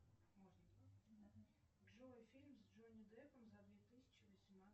джой фильм с джонни деппом за две тысячи восемнадцатый